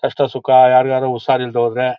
ಕಷ್ಟ ಸುಖ ಯಾರ್ಯಾರಿಗೆ ಉಶಾರಿಲ್ದೆ ಹೋದ್ರೆ--